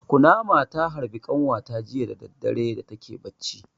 Kunama ta harbe ƙanwata jiya da dare da take barci.